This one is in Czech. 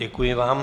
Děkuji vám.